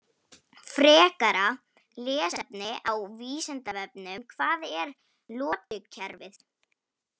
Frekara lesefni á Vísindavefnum: Hvað er lotukerfið?